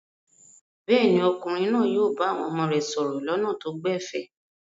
Bẹ́ẹ̀ ni, ọkùnrin náà yóò bá àwọn ọmọ rẹ̀ sọ̀rọ̀ lọ́nà tó gbẹ̀fẹ̀.